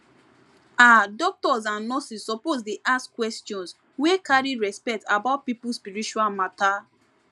ah doctors and nurses suppose dey ask questions wey carry respect about people spiritual matter